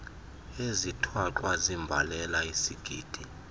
ezithwaxwa ziimbalela isigidi